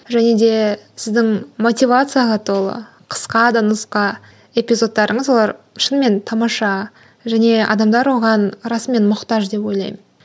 және де сіздің мотивацияға толы қысқа да нұсқа эпизодтарыңыз олар шынымен тамаша және адамдар оған расымен мұқтаж деп ойлаймын